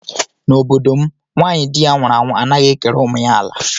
N'obodo m nwaanyị di ya nwụrụ anwu anaghị ekere ụmụ ya ala